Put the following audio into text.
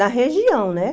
Na região, né?